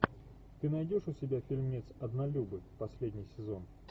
ты найдешь у себя фильмец однолюбы последний сезон